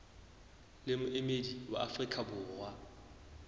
le moemedi wa afrika borwa